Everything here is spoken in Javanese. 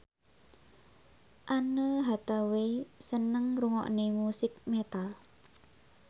Anne Hathaway seneng ngrungokne musik metal